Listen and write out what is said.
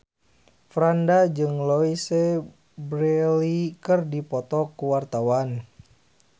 Franda jeung Louise Brealey keur dipoto ku wartawan